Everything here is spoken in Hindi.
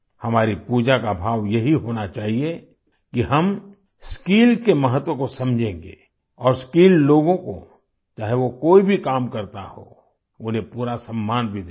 हमारी पूजा का भाव यही होना चाहिए कि हम स्किल के महत्व को समझेंगे और स्किल्ड लोगों को चाहे वो कोई भी काम करता हो उन्हें पूरा सम्मान भी देंगे